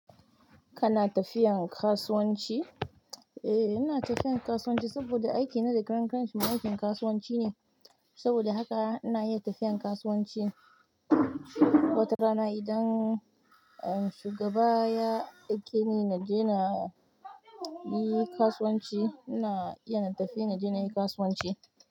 Kana tafiyan kasuwanci? Eh, ina tafiyan kasuwanci saboda aiki na da karankanshi ma aikin kasuwanci ne. Saboda haka ina iya tafiyan kasuwanci wata rana idan shugaba ya aike ni na je na yi kasuwanci, ina iya na tafi na je na yi kasuwanci.